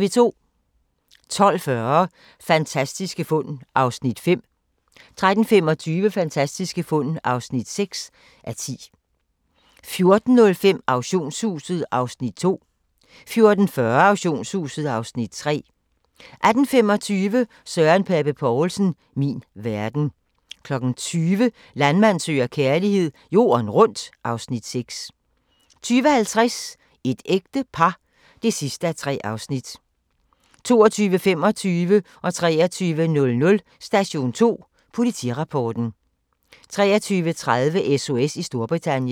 12:40: Fantastiske fund (5:10) 13:25: Fantastiske fund (6:10) 14:05: Auktionshuset (Afs. 2) 14:40: Auktionshuset (Afs. 3) 18:25: Søren Pape Poulsen - min verden 20:00: Landmand søger kærlighed - jorden rundt (Afs. 6) 20:50: Et ægte par (3:3) 22:25: Station 2: Politirapporten 23:00: Station 2: Politirapporten 23:30: SOS i Storbritannien